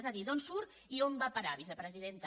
és a dir d’on surt i on va a parar vicepresidenta